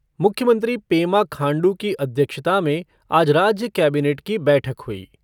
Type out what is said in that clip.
मुख्यमंत्री पेमा खांडू की अध्यक्षता में आज राज्य कैबिनेट की बैठक हुई।